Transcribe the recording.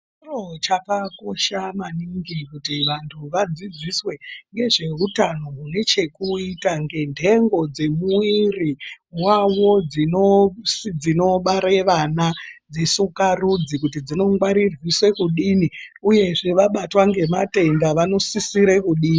Chiro chakakosha maningi kuti vantu vadzidziswe ngezvehutano hunechekuita ngenhengo dzemuviri vavo dzinobare vana dzisukarudzi. Kuti dzinongwarirwiswe kuti kudino, uyezve vabatwa ngematenda vanosisire kudini.